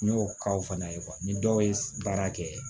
N y'o k'aw fana ye ni dɔw ye baara kɛ